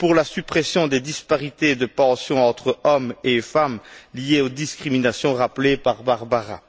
pour la suppression des disparités en matière de pension entre hommes et femmes liées aux discriminations rappelées par Barbara.